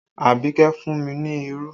Abike fún mi ní irú